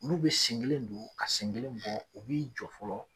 N'u bi sen kelen don , ka sen kelen bɔ u bi jɔ fɔlɔ